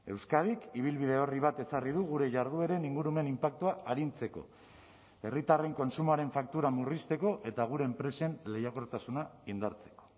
euskadik ibilbide orri bat ezarri du gure jardueren ingurumen inpaktua arintzeko herritarren kontsumoaren faktura murrizteko eta gure enpresen lehiakortasuna indartzeko